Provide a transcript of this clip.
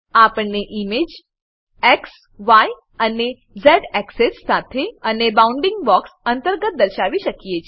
આપણે ઈમેજને xય અને ઝ એક્સેસ એક્સેસ સાથે અને બાઉન્ડીંગ બોક્સ અંતર્ગત દર્શાવી શકીએ છીએ